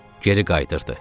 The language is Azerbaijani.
Geri qayıdırdı.